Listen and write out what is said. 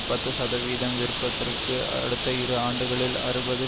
பத்து சதவிகிதம் விற்பதிற்கு அடுத்த இரு ஆண்டுகளில் அறுபது